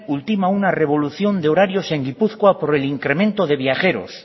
ultima una revolución de horarios en gipuzkoa por el incremento de viajeros